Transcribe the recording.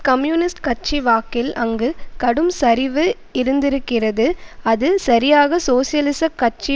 communist கட்சி வாக்கில் அங்கு கடும் சரிவு இருந்திருக்கிறது அது சரியாக சோசியலிசக் கட்சி